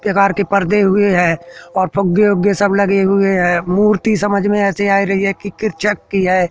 केवाड़ के पर्दे हुए है और फुगे बुग्गे सब लगे हुए हैं मूर्ति समझ में ऐसे आ रही है कि किरचक की है।